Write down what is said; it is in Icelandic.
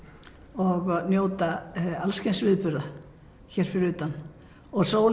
og njóta alls kyns viðburða hér fyrir utan og sólin